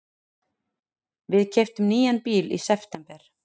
Við keyptum nýjan bíl í september.